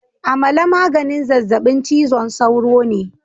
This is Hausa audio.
Amala maganin zazzabin cizon sauro ne